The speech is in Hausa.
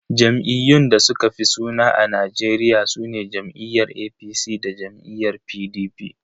Jam'iyyun da suka fi yin suna a Najeriya sune jam'iyyar APC da jam'iyyar PDP.